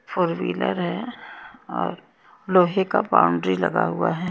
Four wheeler है और लोहे का बाउंड्री लगा हुआ है।